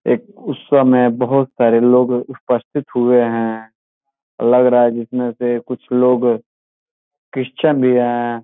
एक उत्सव में बोहुत सारे लोग उपस्थित हुए हैं लग रहा है जिसमे से कुछ लोग क्रिस्चन भी है।